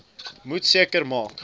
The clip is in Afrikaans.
moet seker maak